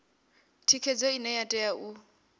thikhedzo ine ya tea u